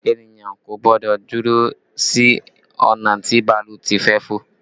Ènìyàn kò gbọ́dọ̀ dúró sí ọ̀nà tí bàálù ti fẹ́ fò